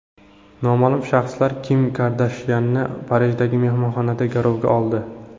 Noma’lum shaxslar Kim Kardashyanni Parijdagi mehmonxonada garovga oldi.